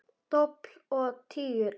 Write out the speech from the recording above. Dobl og tígull út.